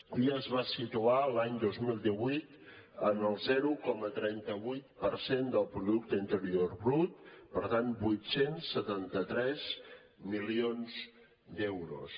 ja es va situar l’any dos mil divuit en el zero coma trenta vuit per cent del producte interior brut per tant vuit cents i setanta tres milions d’euros